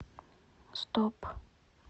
стоп